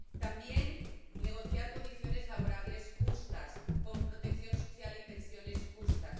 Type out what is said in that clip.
También hay que negociar condiciones laborales justas, con protección social y pensiones justas.